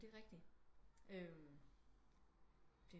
Det er rigtigt